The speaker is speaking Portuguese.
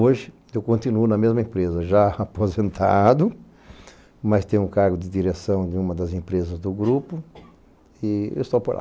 Hoje, eu continuo na mesma empresa, já aposentado, mas tenho o cargo de direção de uma das empresas do grupo e eu estou por lá.